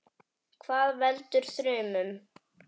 Hvað veldur þrumum?